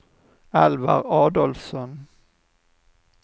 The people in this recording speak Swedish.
Alvar Adolfsson